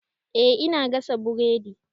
Eh ina gasa buredi.